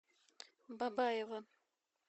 бабаево